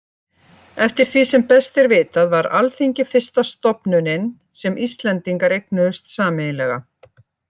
Eftir því sem best er vitað var Alþingi fyrsta stofnunin sem Íslendingar eignuðust sameiginlega.